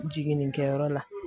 Jiginnikɛyɔrɔ la